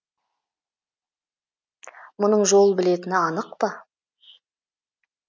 мұның жол білетіні анық па